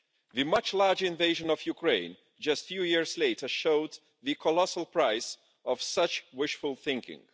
The much larger invasion of Ukraine just a few years later showed the colossal price of such wishful thinking.